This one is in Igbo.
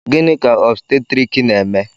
Gịnị ka òbstètrịk na-eme